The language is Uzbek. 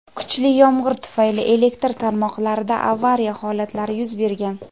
kuchli yomg‘ir tufayli elektr tarmoqlarida "avariya" holatlari yuz bergan.